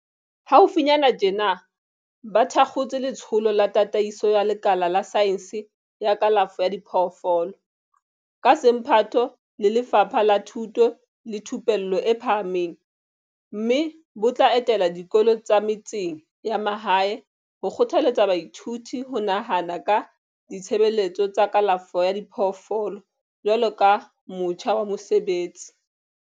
Haufinyana tjena ba thakgotse Letsholo la Tataiso ya Lekala la Saense ya Kalafo ya Diphoofolo, ka semphato le Lefapha la Thuto le Thupello e Phahameng, mme bo tla etela dikolo tsa metseng ya mahae ho kgothaletsa baithuti ho nahana ka ditshebeletso tsa kalafo ya diphoofolo jwaloka motjha wa mosebetsi.